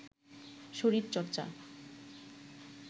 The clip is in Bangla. শরীর চর্চা